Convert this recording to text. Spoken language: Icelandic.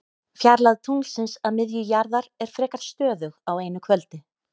Fjarlægð tunglsins að miðju jarðar er frekar stöðug á einu kvöldi.